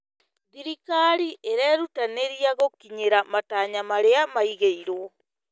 Thirikari ĩrerutanĩria gũkinyĩra matanya marĩa maigirwo.